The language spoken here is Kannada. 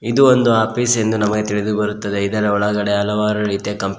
ಇದು ಒಂದು ಆಫೀಸ್ ಎಂದು ನಮಗೆ ತಿಳಿದುಬರುತ್ತದೆ ಇದರ ಒಳಗಡೆ ಹಲವಾರು ರೀತಿಯ ಕಂಪ್ಯೂ--